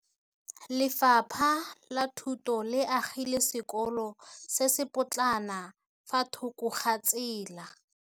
Lefapha la Thuto le agile sekôlô se se pôtlana fa thoko ga tsela.